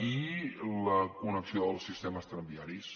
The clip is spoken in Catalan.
i la connexió dels sistemes tramviaris